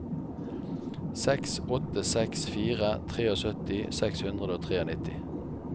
seks åtte seks fire syttitre seks hundre og nittitre